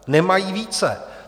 Nemají více.